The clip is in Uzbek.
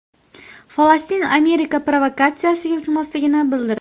Falastin Amerika provokatsiyasiga uchmasligini bildirdi.